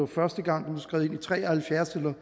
første gang blev skrevet ind tre og halvfjerds eller